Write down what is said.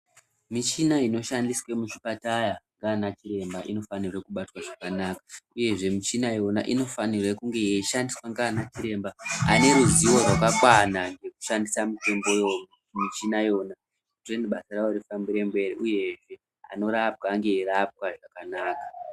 Michina inoshandiswe muzvipataya ngana chiremba inofanirwe kubatwe zvakanaka uyezve michina yona inofanirwe kunge yeishandiswe ngana chiremba ane ruzivo rwakakwana rwekushandisa michina iyona ndokuti basa rawo rifambire mberi uyezve anonga eirapwa ange eirapwa zvakana.